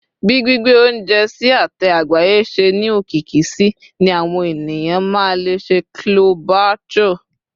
bi gbigbe ounjẹ sí ate àgbáyé se ni okiki sí ni àwọn ènìyàn ma le sẹ chole bhature